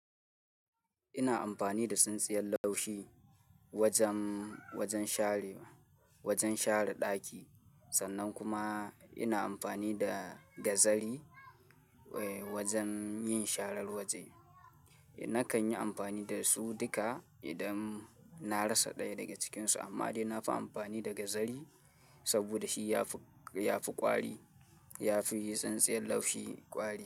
Ina amfani da tsintsiyar laushi wajen, wajen share, wajen share ɗaki sannan kuma ina amfani da gazari eh wajen yin sharar waje. Nakan yi amfani da su duka idan na rasa ɗaya daga cikinsu amma dai na fi amfani da gazari saboda shi ya fi, ya fi ƙwari, ya fi tsintsiyar laushi ƙwari.